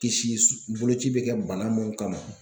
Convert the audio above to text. Kisi boloci bɛ kɛ bana mun kama.